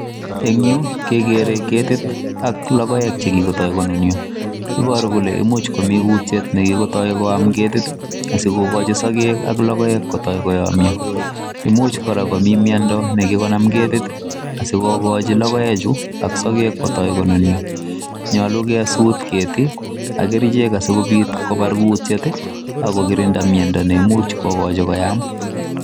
En yu kegere ketit ak logoek che kigotoi konunyo. Iboru kole imuch komi kutiet nekigotoi koam ketit asigokochi sogek ab logoek kotoi koyomnyo, imuch kora komi miondo ne kigonam ketit asikogochi logoechu ak sogek kotoi konunyo. Nyolu kesuut keti ak kerichek asikobit kobar kutiet ago kirinda miondo neimuch kogochi komian